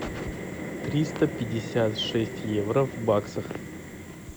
триста пятьдесят шесть евро в баксах